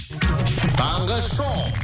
таңғы шоу